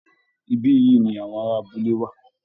Ibí yìí ni àwọn ará abúlé wà